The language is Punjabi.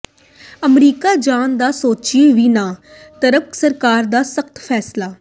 ਅਮਰੀਕਾ ਜਾਣ ਦਾ ਸੋਚਿਓ ਵੀ ਨਾ ਟਰੰਪ ਸਰਕਾਰ ਦਾ ਸਖਤ ਫੈਸਲਾ